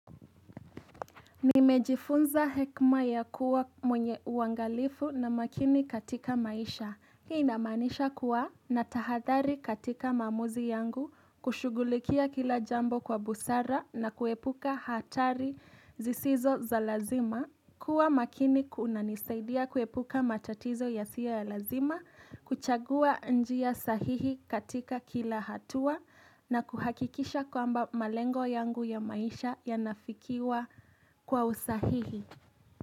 Nimejifunza hekima ya kuwa mwenye uangalifu na makini katika maisha Hii inamaanisha kuwa na tahathari katika maamuzi yangu kushugulikia kila jambo kwa busara na kuepuka hatari zisizo za lazima kuwa makini kunanisaidia kuepuka matatizo ya siyo ya lazima kuchagua njia sahihi katika kila hatua na kuhakikisha kwamba malengo yangu ya maisha ya nafikiwa kwa usahihi.